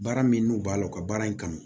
Baara min n'u b'a la u ka baara in kanu